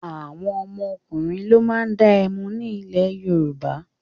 Àwọn ọkùnrin ló máa ń dá ẹmu ní ilẹ̀ Yorùbá.